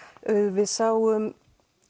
við sáum